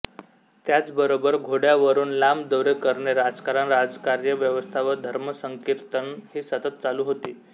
त्याचबरोबर घोड्यावरून लांब दौरे करणे राजकारण राजकार्य व्यवस्था व धर्मसंकीर्तन ही सतत चालू होती